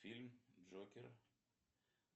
фильм джокер